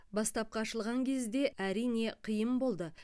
бастапқы ашылған кезде әрине қиын болды